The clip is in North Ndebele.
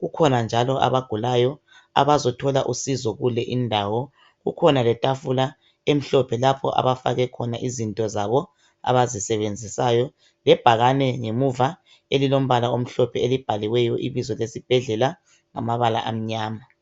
kukhona njalo abagulayo ababuye ukuzothola uncedo kuleyondawo kukhona njalo itafula emhlophe lapha abafake izinto zabo abazisebenzisayo lebhakane ngemuva elilombala omhlophe libhaliwe ngemuva ngamabala amnyama